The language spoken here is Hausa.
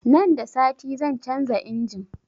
Nan da sati zan canza injin